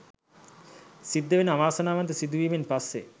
සිද්ධවෙන අවාසනාවන්ත සිදුවීමෙන් පස්සේ